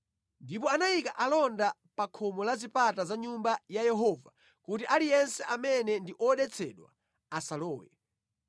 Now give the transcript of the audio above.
Ndipo anayika alonda a pa khomo pa zipata za Nyumba ya Yehova kuti aliyense amene ndi odetsedwa asalowe.